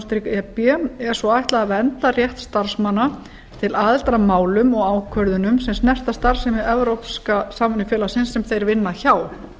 e b er svo ætlað að vernda rétt starfsmanna til aðildar að málum og ákvörðunum sem snerta starfsemi evrópska samvinnufélagsins sem þeir vinna hjá